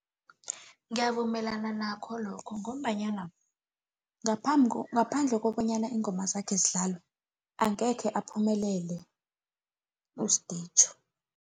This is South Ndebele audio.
Ngiyavumelana nakho lokho, ngombanyana ngaphandle kobanyana iingoma zakhe zidlalwe, angekhe uphumelele uSdijo.